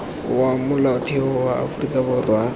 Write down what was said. wa molaotheo wa aforika borwa